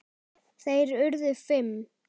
Þeir urðu fimm.